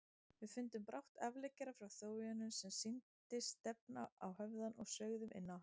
Við fundum brátt afleggjara frá þjóðveginum sem sýndist stefna á höfðann og sveigðum inná hann.